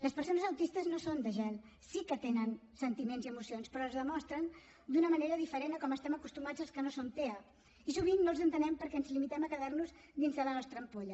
les persones autistes no són de gel sí que tenen sentiments i emocions però els demostren d’una manera diferent de com estem acostumats els que no som tea i sovint no els entenem perquè ens limitem a quedar nos dins de la nostra ampolla